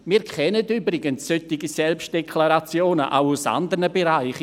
Wir kennen übrigens solche Selbstdeklarationen auch aus andern Bereichen.